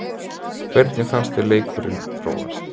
Hvernig fannst þér leikurinn þróast?